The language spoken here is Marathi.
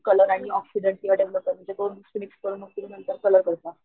कलर अणि ऑक्सिडन्ट किंवा डेव्हलपर म्हणजे दोन मिक्स करून मग कलर करता.